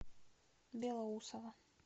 белоусово